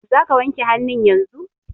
Za ka wanke hannu yanzun!